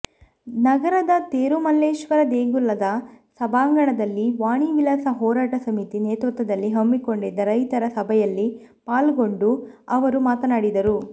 ನಗರದ ತೇರುಮಲ್ಲೇಶ್ವರ ದೇಗುಲದ ಸಭಾಂಗಣದಲ್ಲಿ ವಾಣಿವಿಲಾಸ ಹೋರಾಟ ಸಮಿತಿ ನೇತೃತ್ವದಲ್ಲಿ ಹಮ್ಮಿಕೊಂಡಿದ್ದ ರೈತರ ಸಭಯಲ್ಲಿ ಪಾಲ್ಗೊಂಡು ಅವರು ಮಾತನಾಡಿದರು